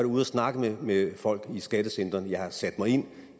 ude at snakke med folk i skattecentrene jeg har sat mig ind